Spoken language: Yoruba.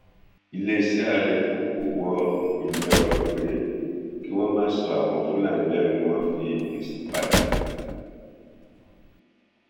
iléeṣẹ ààrẹ kò kò wọ ìyẹn ọrọ pé kí wọn má sọ àwọn fúlàní lẹnu ni wọn fi fèsì padà